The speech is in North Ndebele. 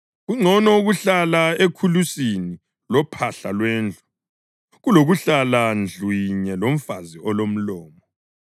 Kungcono ukuhlala ekhulusini lophahla lwendlu kulokuhlala ndlu yinye lomfazi olomlomo.